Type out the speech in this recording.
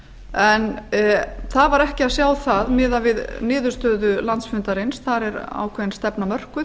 en það var ekki að sjá það miðað við niðurstöðu landsfundarins þar er ákveðin stefna mörkuð